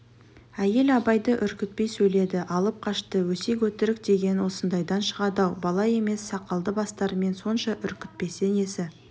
әйел абайды үркітпей сөйледі алып-қашты өсек-өтірік деген осындайдан шығады-ау бала емес сақалды бастарымен сонша үркітпесе несі